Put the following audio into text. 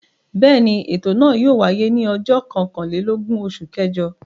Bẹ́ẹ̀ ni, ètò náà yóò wáyé ní ọjọ́ kọkànlélógún oṣù kẹjọ.